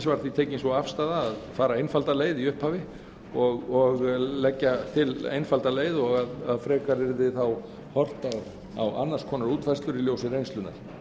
var því tekin sú afstaða að fara einfalda leið í upphafi og leggja til einfalda leið og að frekar yrði þá horft á annars konar útfærslur í ljósi reynslunnar